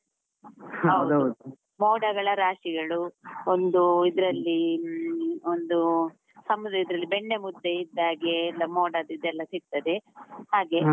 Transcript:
ಮೋಡಗಳ ರಾಶಿಗಳು, ಒಂದು ಇದ್ರಲ್ಲಿ ಹ್ಮ್, ಒಂದು ಸಮುದ್ರದ ಇದ್ರಲ್ಲಿ ಬೆಣ್ಣೆ ಮುದ್ದೆ ಇದ್ದಾಗೆ, ಎಲ್ಲ ಮೋಡದ್ದು ಇದೆಲ್ಲಾ ಸಿಗ್ತದೆ ಹಾಗೆ.